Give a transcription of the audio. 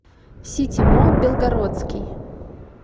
сити молл белгородский